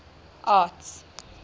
arts